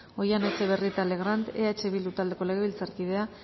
oihana etxebarrieta legrand eh bildu taldeko legebiltzarkideak